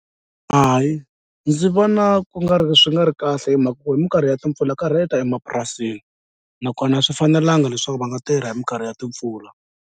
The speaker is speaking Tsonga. Hayi ndzi vona ku nga ri swi nga ri kahle hi mhaka ku hi minkarhi ya timpfula ka rheta emapurasini nakona a swi fanelanga leswaku va nga tirha hi minkarhi ya timpfula.